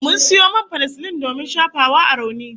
Mun sayo man fanasilin domin shafawa a rauni